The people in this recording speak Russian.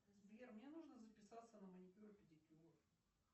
сбер мне нужно записаться на маникюр и педикюр